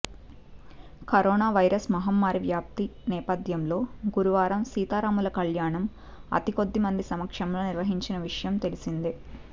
corona virus మహమ్మారి వ్యాప్తి నేపథ్యంలో గురువారం సీతారాముల కల్యాణం అతికొద్ది మంది సమక్షంలో నిర్వహించిన విషయం తెలిసిందే